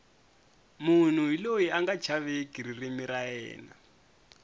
munhu hi loyi anga chaveki ririmi ra yena